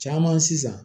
Caman sisan